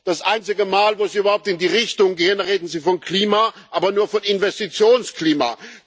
Das einzige Mal, wo Sie überhaupt in die Richtung gehen, reden Sie vom Klima, aber nur von Investitionsklima.